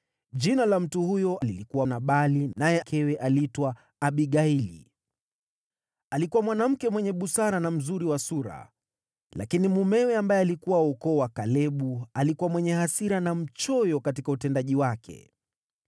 Jina la mtu huyo lilikuwa Nabali, naye mkewe aliitwa Abigaili. Alikuwa mwanamke mwenye busara na mzuri wa sura, lakini mumewe, ambaye alikuwa wa ukoo wa Kalebu, alikuwa mwenye hasira na mchoyo katika utendaji wake.